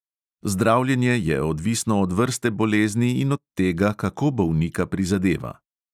Zdravljenje je odvisno od vrste bolezni in od tega, kako bolnika prizadeva.